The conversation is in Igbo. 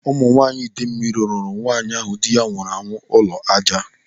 Ụmụ nwaanyị Ịdemili rụrụ nwaanyị ahụ dị ya nwụrụ anwụ ụlọ ájá.